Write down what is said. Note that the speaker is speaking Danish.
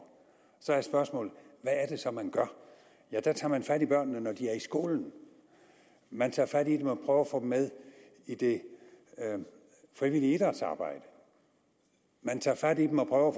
så er spørgsmålet hvad er det så man gør der tager man fat i børnene når de er i skolen man tager fat i dem og prøver at få dem med i det frivillige idrætsarbejde man tager fat i dem og prøver